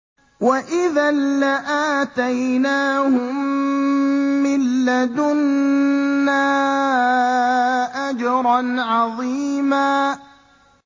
وَإِذًا لَّآتَيْنَاهُم مِّن لَّدُنَّا أَجْرًا عَظِيمًا